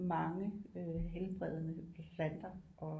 Mange øh helbredende planter og